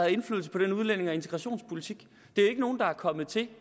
indflydelse på den udlændinge og integrationspolitik det er jo ikke nogen der er kommet til